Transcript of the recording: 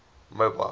mobile